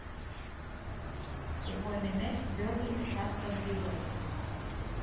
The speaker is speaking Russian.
футбольный матч бернли с астон виллой